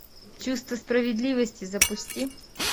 чувство справедливости запусти